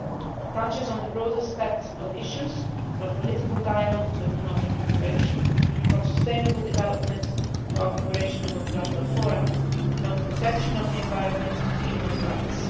It touches on the broadest set of issues, from political dialogue to economic cooperation, from sustainable development to our cooperation in multilateral fora, from the protection of the environment to human rights.